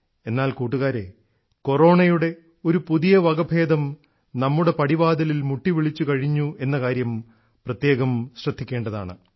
എന്നാൽ കൂട്ടുകാരേ കൊറോണയുടെ ഒരു പുതിയ വകഭേദം നമ്മുടെ പടിവാതിലിൽ മുട്ടിവിളിച്ചുകഴിഞ്ഞു എന്ന കാര്യം പ്രത്യേകം ശ്രദ്ധിക്കേണ്ടതാണ്